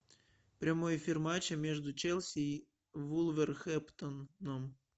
прямой эфир матча между челси и вулверхэмптоном